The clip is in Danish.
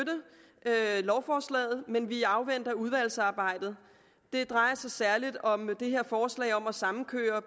lovforslaget men vi afventer udvalgsarbejdet det drejer sig særlig om det her forslag om at samkøre